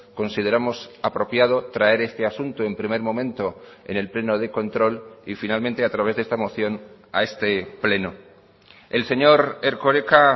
consideramos apropiado traer este asunto en primer momento en el pleno de control y finalmente a través de esta moción a este pleno el señor erkoreka